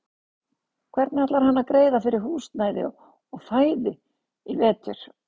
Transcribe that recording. Hvernig ætlar hann að greiða fyrir húsnæði og fæði í vetur?